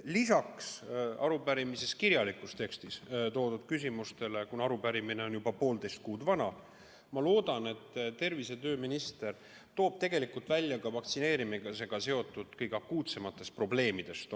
Lisaks arupärimise kirjalikus tekstis toodud küsimustele ma loodan, et kuna arupärimine on juba poolteist kuud vana, siis toob tervise- ja tööminister välja ka oma nägemuse vaktsineerimisega seotud kõige akuutsematest probleemidest.